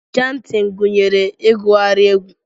Chantin gunyere igughari egwu.